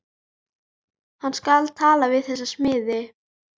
Hann skal tala við þessa smiði.